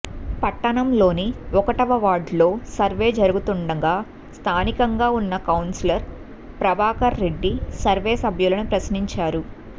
పట్టణంలోని ఒకటవ వార్డులో సర్వే జరుగుతుండగా స్థానికంగా ఉన్న కౌన్సిలర్ ప్రభాకర్రెడ్డి సర్వే సభ్యులను ప్రశ్నించారు